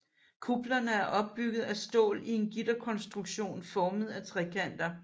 Kuplerne er opbygget af stål i en gitterkonstruktion formet af trekanter